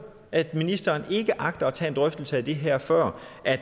at ministeren ikke agter at tage en drøftelse af det her før